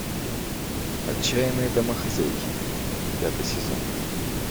отчаянные домохозяйки пятый сезон